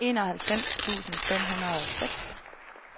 enoghalvfems tusind fem hundrede og seks